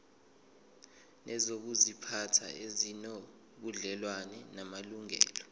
nezokuziphatha ezinobudlelwano namalungelo